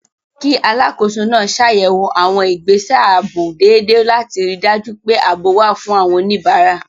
Kí Alákòóso náà ṣàyẹ̀wò àwọn ìgbésẹ̀ ààbò dédé láti ríi dájú pé ààbò wà fún àwọn oníbàárà